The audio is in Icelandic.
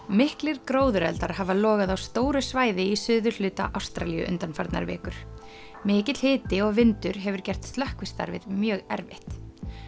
miklir hafa logað á stóru svæði í suðurhluta Ástralíu undanfarnar vikur mikill hiti og vindur hefur gert slökkvistarfið mjög erfitt